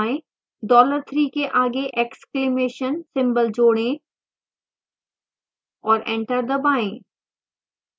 dollar 3 के आगे exclamation symbol जोड़ें और enter दबाएं